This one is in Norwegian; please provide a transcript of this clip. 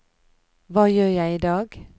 hva gjør jeg idag